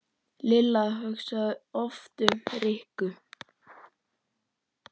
Lilla hugsaði oft um Rikku.